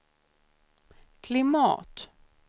klimat